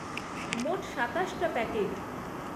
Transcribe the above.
মোট সাতাশটা প্যাকেট।